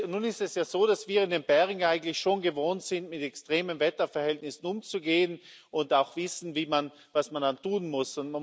Nun ist es ja so, dass wir in den Bergen eigentlich schon gewohnt sind, mit extremen Wetterverhältnissen umzugehen, und auch wissen, was man dann tun muss.